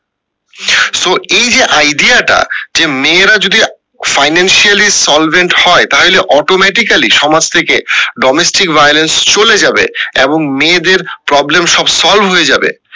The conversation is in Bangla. so এই যে idea টা যে মেয়েরা যদি financially solvent হয় তাহলে automatically সমাজ থেকে domestic violence চলে যাবে এবং মেয়েদের problem সব solve হয়ে যাবে